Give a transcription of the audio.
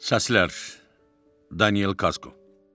Səslər: Daniel Kasko.